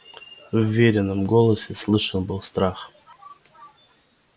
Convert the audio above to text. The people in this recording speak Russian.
в верином голосе слышен был страх